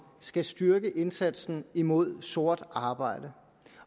skal styrke indsatsen imod sort arbejde